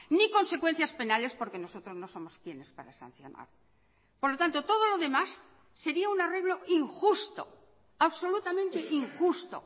ni consecuencias penales porque nosotros no somos quienes para sancionar por lo tanto todo lo demás sería un arreglo injusto absolutamente injusto